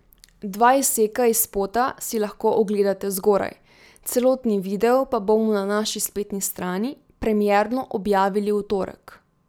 Dva izseka iz spota si lahko ogledate zgoraj, celotni video pa bomo na naši spletni strani premierno objavili v torek.